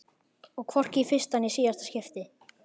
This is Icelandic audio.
Og hvorki í fyrsta né síðasta skipti.